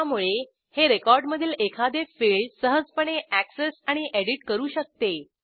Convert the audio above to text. त्यामुळे हे रेकॉर्डमधील एखादे फिल्ड सहजपणे अॅक्सेस आणि एडिट करू शकते